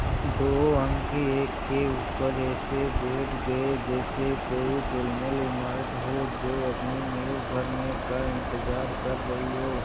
दो अंक एक के ऊपर एक ऐसे बैठ गये जैसे कोई ढुलमुल इमारत हो जो अपनी नींव भरने का इन्तज़ार कर रही हो